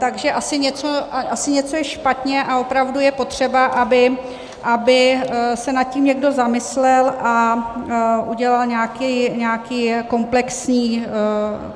Takže asi něco je špatně a opravdu je potřeba, aby se nad tím někdo zamyslel a udělal nějakou komplexní změnu.